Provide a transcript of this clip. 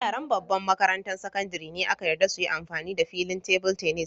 Yaran babban makarantan sakandare ne aka yarda su yi amfani da filin table tennis.